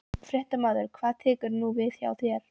Fréttamaður: Hvað tekur nú við hjá þér?